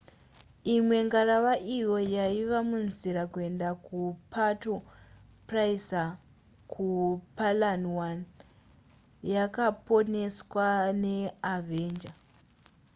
imwe ngarava iyo yaiva munzira kuenda kupuerto pricesa kupalawan yakaponeswa neavenger